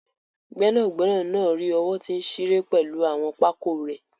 Gbẹnagbẹna naa ri owo ti nṣire pẹlu awọn pákó rẹ̀